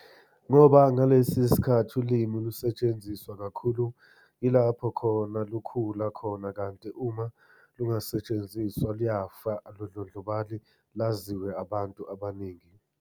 Ngoba ngalesikhathi ulimi lusetshenziswa kakhulu ilapho khona lukhula khona kanti uma lingasetshenziswa luyafa alundlondlobali laziwe abantu abaningi.